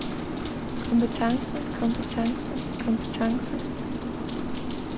kompetence kompetence kompetence